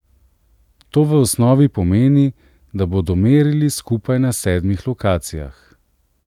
To v osnovi pomeni, da bodo merili skupaj na sedmih lokacijah.